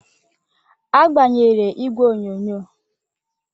A gbanyere igwe onyonyo.